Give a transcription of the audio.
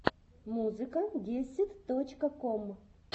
музыка гесид точка ком